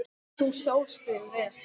Þú stóðst þig vel.